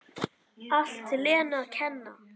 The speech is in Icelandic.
Allt Lenu að kenna!